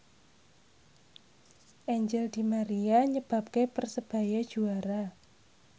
Angel di Maria nyebabke Persebaya juara